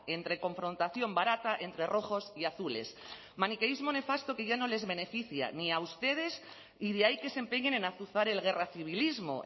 entre confrontación barata entre rojos y azules maniqueísmo nefasto que ya no les beneficia ni a ustedes y de ahí que se empeñen en azuzar el guerracivilismo